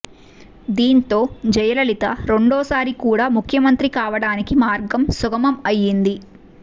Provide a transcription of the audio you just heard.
దీంతో జయలలిత రెండోసారి కూడా ముఖ్యమంత్రి కావడానికి మార్గం సుగమం అయింది